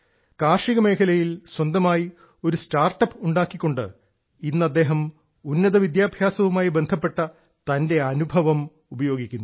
കാർഷികമേഖലയിൽ സ്വന്തമായി ഒരു സ്റ്റാർട്ടപ്പ് ഉണ്ടാക്കിക്കൊണ്ട് ഇന്ന് അദ്ദേഹം ഉന്നത വിദ്യാഭ്യാസവുമായി ബന്ധപ്പെട്ട തന്റെ അനുഭവം ഉപയോഗിക്കുന്നു